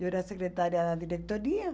Eu era secretária da diretoria.